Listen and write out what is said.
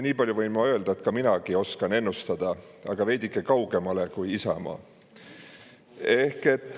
Nii palju võin ma öelda, et minagi oskan ennustada, aga veidike kaugemale kui Isamaa.